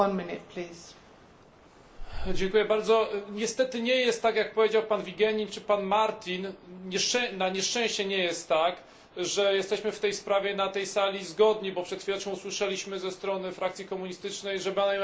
Niestety nie jest tak, jak powiedział pan Vigenin czy pan Martin, na nieszczęście nie jest tak, że jesteśmy w tej sprawie na tej sali zgodni, bo przed chwileczką usłyszeliśmy ze strony frakcji komunistycznej, że mają jakieś zastrzeżenia wobec naszego stanowiska.